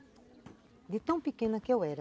De tão pequena que eu era.